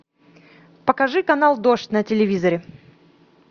покажи канал дождь на телевизоре